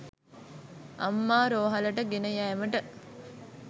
අම්මා රෝහලට ගෙන යෑමට